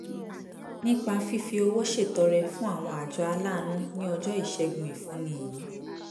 nípa fífi owó ṣètọrẹ fún àwọn àjọ aláàánú ní ọjọ́ ìṣẹ́gun ìfúnni yìí